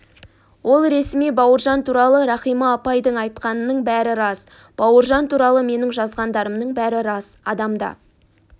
ол ресми бауыржан туралы рахима апайдың айтқанының бәрі рас бауыржан туралы менің жазғандарымның бәрі рас адамда